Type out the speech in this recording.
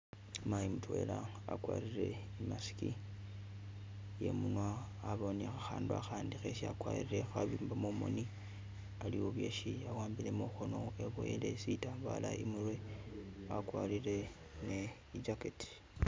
Mayi mutwela akwarire e mask iye munwa , abawo ne khakhandu akhandi khesi akwarire khabimba mumoni, aliwo byesi awambile mukhono, eboyele sitambala imurwe, akwarire ne jacket.